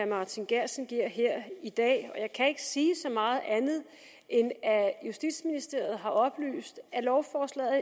martin geertsen giver her i dag jeg kan ikke sige så meget andet end at justitsministeriet har oplyst at lovforslaget